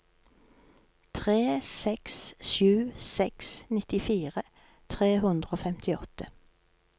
tre seks sju seks nittifire tre hundre og femtiåtte